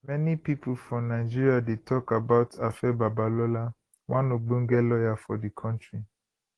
many pipo for nigeria dey tok about afe babalola one ogbonge lawyer for di kontri